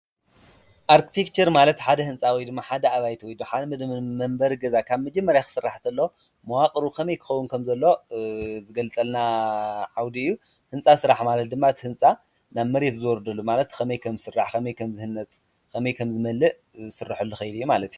ኣርክቴክቸር ማለት ሓደ ህንፃ ወይ ድማ ሓደ ኣባይቲ ወይ ድማ መንበሪ ገዛ ካብ መጀመርያ ክስራሕ እንተሎ መዋቅሩ ከመይ ክከውን ከም ዘለዎ ዝገልፀልና ዓውዲ እዩ ። ህንፃ ስራሕ ድማ እቲ ህንፃ ናብ መሬት ዝወርደሉ ከመይ ከም ዝስራሕ፣ ከመይ ከም ዝህነፅ፣ ከመይ ከም ዝመልእ ዝስረሐሉ ከይዲ እዩ ማለት እዩ።